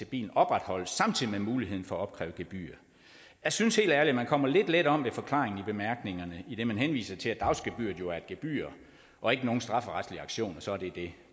bilen opretholdes samtidig med muligheden for at opkræve gebyr jeg synes helt ærligt at man kommer lidt let om ved forklaringen i bemærkningerne idet man henviser til at dagsgebyret jo er et gebyr og ikke nogen strafferetlig aktion og så er det det